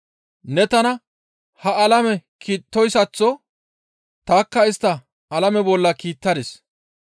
Ne tana ha alame kiittoyssaththo tanikka istta alame bolla kiittadis.